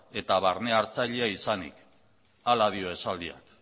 eta barne hartzailea izanik hala dio esaldiak